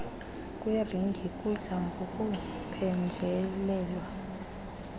kweringi kudla ngokuphenjelelwa